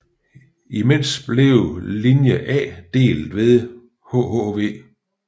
Imens blev linje A delt ved hhv